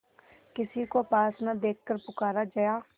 किसी को पास न देखकर पुकारा जया